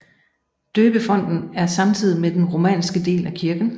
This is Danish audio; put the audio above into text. Døbefonten er samtidig med den romanske del af kirken